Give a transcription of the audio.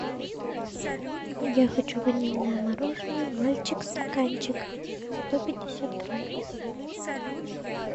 я хочу ванильное мороженое мальчик стаканчик сто пятьдесят грамм